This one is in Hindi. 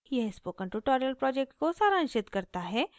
यह spoken tutorial project को सारांशित करता है